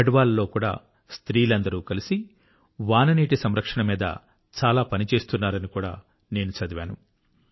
garh wall లో కూడా స్త్రీలందరూ కలసి రైన్ వాటర్ హార్వెస్టింగ్ మీద చాలా పని చేస్తున్నారని కూడా నేను చదివాను